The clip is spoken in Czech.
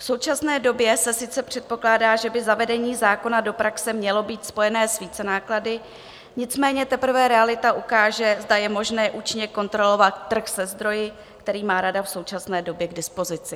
V současné době se sice předpokládá, že by zavedení zákona do praxe mělo být spojené s vícenáklady, nicméně teprve realita ukáže, zda je možné účinně kontrolovat trh se zdroji, který má rada v současné době k dispozici.